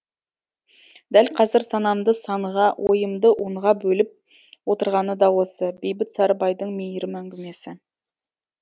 дәл қазір санамды санға ойымды онға бөліп отырғаны да осы бейбіт сарыбайдың мейірім әңгімесі